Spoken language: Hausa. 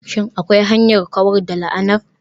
Shin akwai hanyar kawar da la'anar?